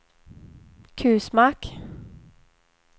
Kusmark